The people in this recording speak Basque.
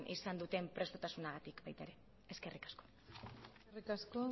izan duten prestutasunagatik baita ere eskerrik asko eskerrik asko